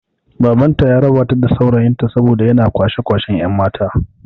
Baban ta ya raba ta da saurayin ta saboda yana kwashe kwashen yan' mata.